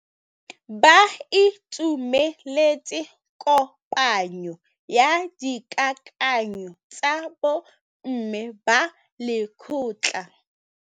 Ba itumeletse kôpanyo ya dikakanyô tsa bo mme ba lekgotla.